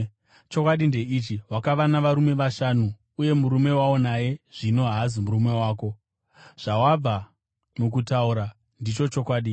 Chokwadi ndeichi, wakava navarume vashanu, uye murume waunaye zvino haazi murume wako. Zvawabva mukutaura ndicho chokwadi.”